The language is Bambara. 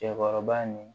Cɛkɔrɔba nin